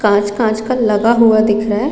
काँच-काँच का लगा हुआ दिख रहा हैं।